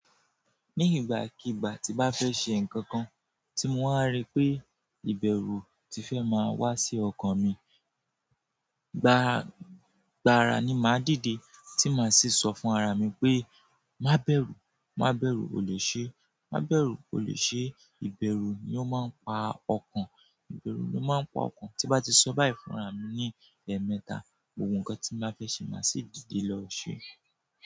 Ní ìgbàkígbà tí bá fẹ́ ṣe nǹkan kan tí mo wà rí pé ìbẹ̀rù ti fẹ́ máa wá sí ọkàn mi, gbára, gbára ni màá dìde, tí màá sì sọ fún ara mi pé má bẹ̀rù, má bẹ̀rù, o lè ṣe, má bẹ̀rù, o lè ṣe. Ìbẹ̀rù ni ó máa ń pa ọkàn, ìbẹ̀rù ló máa ń pa ọkàn. Tí bá ti sọ báyìí fún ara mi ní ẹ̀ẹ̀mẹta, ohun kan tí mo bá fẹ́ ṣe màá sì dìde lọ ṣe.